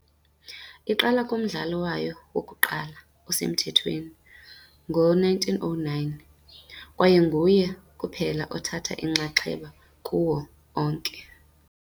iqala kumdlalo wayo wokuqala osemthethweni, ngo-1909, kwaye nguye kuphela othathe inxaxheba kuwo onke.